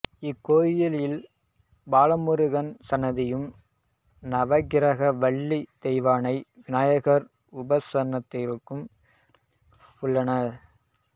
இக்கோயிலில் பாலமுருகன் சன்னதியும் நவகிரகம் வள்ளி தெய்வானை விநாயகர் உபசன்னதிகளும் உள்ளன